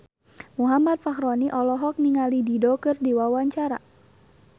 Muhammad Fachroni olohok ningali Dido keur diwawancara